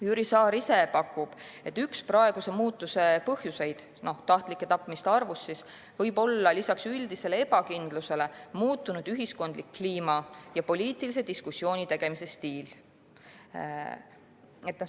Jüri Saar ise pakub, et üks praeguse muutuse – tahtlike tapmiste arvu kasvu – põhjuseid võib olla lisaks üldisele ebakindlusele muutunud ühiskondlik kliima ja poliitilise diskussiooni stiil.